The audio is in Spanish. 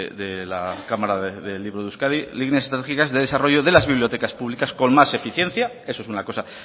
de la cámara del libro de euskadi líneas estratégicas de desarrollo de las bibliotecas públicas con más eficiencia eso es una cosa